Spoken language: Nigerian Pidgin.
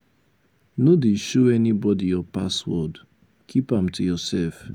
no dey show anybody your password. keep am to yourself.